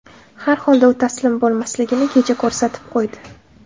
Har holda u taslim bo‘lmasligini kecha ko‘rsatib qo‘ydi.